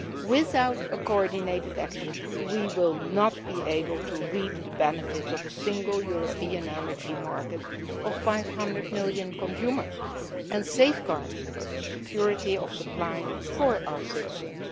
Without coordinated action, we will not be able to reap the benefits of a single European energy market of 500 million consumers and safeguard the security of supply for our citizens.